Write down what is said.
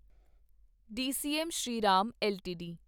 DCM Shriram LTD